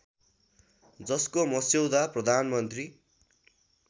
जसको मस्यौदा प्रधानमन्त्री